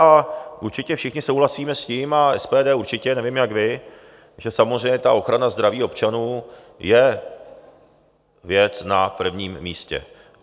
A určitě všichni souhlasíme s tím, a SPD určitě, nevím, jak vy, že samozřejmě ta ochrana zdraví občanů je věc na prvním místě.